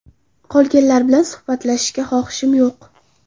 Qolganlar bilan suhbatlashishga xohishim yo‘q.